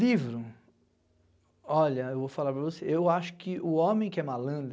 Livro, olha, eu vou falar para você, eu acho que o homem que é malandro,